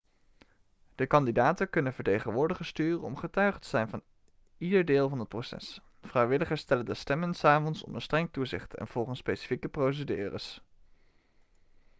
de kandidaten kunnen vertegenwoordigers sturen om getuige te zijn van ieder deel van het proces vrijwilligers tellen de stemmen s avonds onder streng toezicht en volgens specifieke procedures